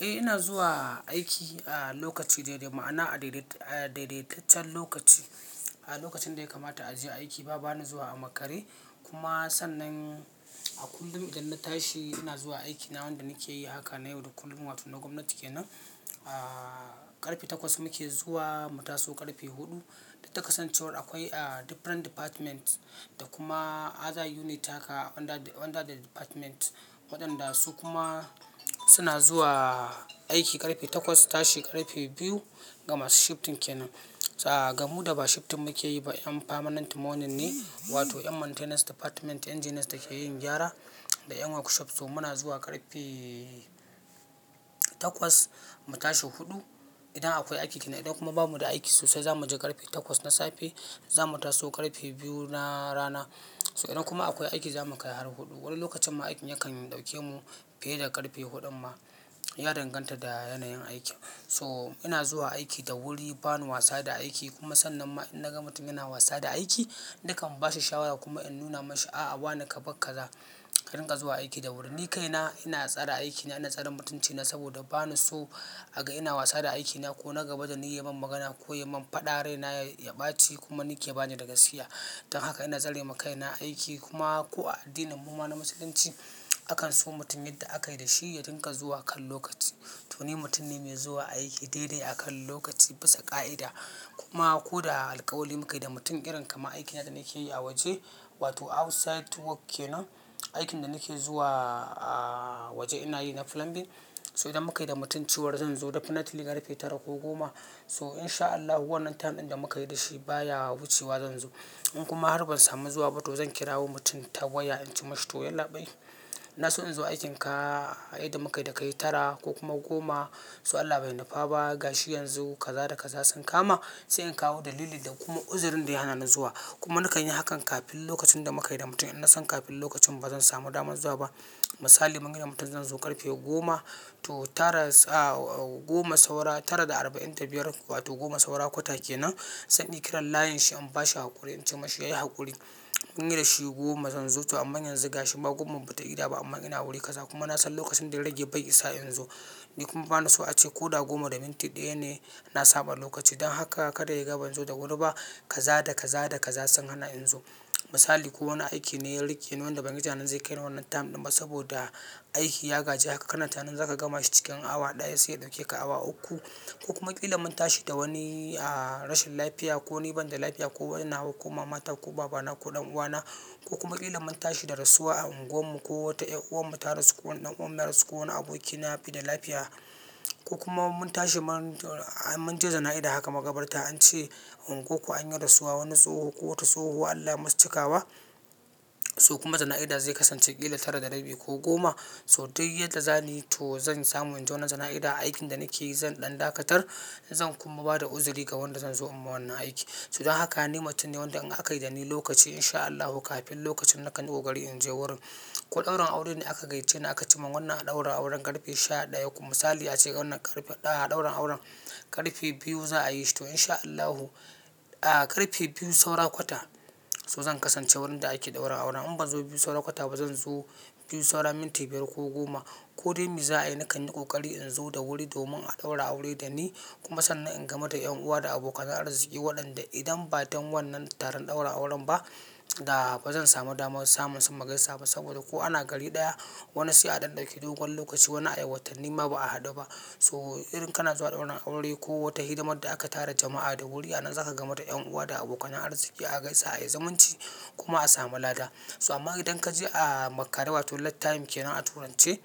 Eh ina zuwa aiki a lokaci daidai, ma'ana a daidaitaccen lokaci. A lokacin da ya kamata a je aiki ba bani zuwa a makare. Kuma sannan a kullum idan na tashi ina zuwa aiki na wanda nake yi haka na yau da kullum wato na gwamnati kenan. Ahhh ƙarfe takwas muke zuwa mu taso ƙarfe huɗu. Da takasan cewa akwai ah different department da kuma other unit haka under the department waɗanda su kuma suna zuwa aiki ƙarfe takwas su tashi ƙarfe biyu. Gama su shifting kenan. So ga mu da ba shifting muke yi ba 'yan permanent morning ne wato 'yan maintenance department engineers da ke yin gyara da 'yan workshop so muna zuwa ƙarfe takwas mu tashi huɗu. Idan akwai aiki kenan idan kuma babu da aiki sosai za mu je ƙarfe takwas na safe za mu taso ƙarfe biyu na rana. So idan kuma akwai aiki za mu kai har huɗu. Wani lokacin ma aikin yakan ɗauke mu fiye da ƙarfe huɗun ma. Ya danganta da yanayin aikin. So ina zuwa aiki da wuri bani wasa da aiki kuma sannan ma in na ga mutum yana wasa da aiki nakan ba shi shawara kuma in nuna mashi a a bani ka bakka za ka ringa zuwa aiki da wuri. Ni kaina ina tsare aikina ina tsare mutuncina saboda bani so a ga ina wasa da aikina ko na gabatar da ni yayi man magana ko yayi man faɗa rai na ya baci kuma ni ke bani daga gaskiya. Dan haka ina tsare makaina aiki kuma ko a addinin mu ma na musulunci akan so mutumin da aka yi da shi ya dinga zuwa a kan lokaci. To ni mutum ne mai zuwa aiki daidai a kan lokaci bisa ƙa'ida. Kuma ko da alƙawali muka yi da mutum irin kamar aikina da nake yi a waje wato outside work kenan. Aikin da nake zuwa waje ina yi na plumbing. So idan muka yi da mutum cewar zan zo definitely ƙarfe tara ko goma so in sha Allahu wannan tam ɗin da muka yi da shi baya wucewa zan zo. In kuma har ban samu zuwa ba to zan kirawo mutum ta waya in ce mashi to yallabai na so in zo aikinka ai da muka yi da ka yi tara ko kuma goma so Allah bai nufa ba gashi yanzu kaza da kaza sun kama sai in kawo dalili da kuma uzurin da ya hana ni zuwa. Kuma nakan yi hakan kafin lokacin da muka yi da mutum idan na san kafin lokacin ba zan samu damar zuwa ba. Misali mun gaya wa mutum zan zo ƙarfe goma to tara sa'a goma saura tara da arba'in da biyar wato goma saura kwata kenan sai in kirar layin shi in ba shi haƙuri in ce mashi yayi haƙuri mun yi da shi goma zan zo to amma yanzu gashin ba goma ba ta yi da ba amma ina wuri kaza kuma na san lokacin da ya rage bai isa in zo. Ni kuma bani so a ce ko da goma da minti ɗaya ne na saba lokaci don haka kada ya gaba in zo da wuri ba kaza da kaza da kaza sun hana in zo. Misali ko wani aiki ne ya riƙe ni wanda ban yi tunanin zai kai ni wannan tam ɗin ba saboda aiki ya gaji haka kana tunanin za ka gama shi cikin awa ɗaya sai ya ɗauke ka awa uku. Ko kuma ƙila mun tashi da wani a rashin lafiya ko ni ban da lafiya ko yana wa ko mama ta ko baba na ko ɗan uwa na ko kuma ƙila mun tashi da rasuwa a unguwarmu ko wata 'yan'uwar mu ta rasu ko ɗan'uwan mu ya rasu ko wani abokina ya fi da lafiya. Ko kuma mun tashi mun je jana'iza haka magabarta an ce unguwanku an yi rasuwa wani tsoho ko wata tsohuwa Allah ya musu cikawa. So kuma jana'iza zai kasance ƙila tara da rabi ko goma so duk yadda zani to zan samu in je wannan jana'iza aikin da nake yi zan ɗan dakatar zan kuma ba da uzuri ga wanda zan zo in ma wannan aiki. So don haka ni mutum ne wanda in aka yi da ni lokaci in sha Allahu kafin lokacin nakan yi ƙoƙari in je wurin. Ko ɗaurin aure ne aka gaishe ni aka ce mun wannan a ɗaura auren ƙarfe sha ɗaya kuma misali ya ce wannan ƙarfe ɗaya a ɗaura auren ƙarfe biyu za a yi shi to in sha Allahu a ƙarfe biyu saura kwata so zan kasance wurin da ake ɗaura auren in ban zo biyu saura kwata ba zan zo biyu saura minti biyar ko goma. Ko dai me za'ayi nakan yi ƙoƙari in zo da wuri domin a ɗaura aure da ni kuma sannan in gama da ƴan uwa da abokan arziki waɗanda idan ba don wannan taron ɗaura auren ba da ba zan samu damar samun su magaisaba saboda ko ana gari ɗaya wani sai a ɗan ɗauki dogon lokaci wani ai watanni ma ba a haɗu ba. So irin kana zuwa ɗaura aure ko wata hidimar da aka tara jama'a da wuri a nan za ka gama da ƴan uwa da abokan arziki a gaisa a yi zamunci kuma a samu lada. So amma idan ka je a makare wato late time kenan a turance